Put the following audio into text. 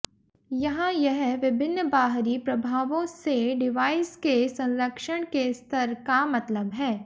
यहाँ यह विभिन्न बाहरी प्रभावों से डिवाइस के संरक्षण के स्तर का मतलब है